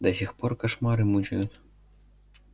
до сих пор кошмары мучают